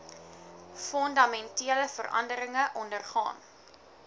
fundamentele veranderinge ondergaan